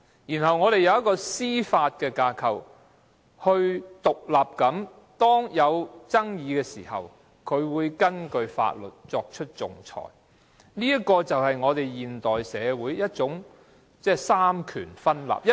此外，我們還有司法架構，可以在出現爭議時根據法律獨立地作出仲裁，而這正是現代社會的三權分立。